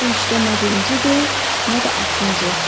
Bu işdə nə birincidir, nə də axırıncı.